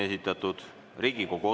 Lugupeetud Riigikogu liikmed!